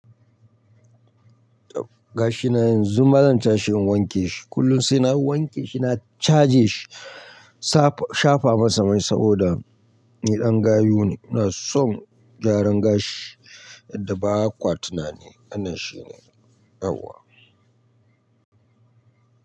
Gashi na yanzu ma zan cha shi in wanke shi. Kullum sai na wanke shi na caje shi, shafa masa mai saboda ni ɗan gayu ne. Ina son gyaran gashi yadda ba kwa tunani. Wannan shi ne, yauwa.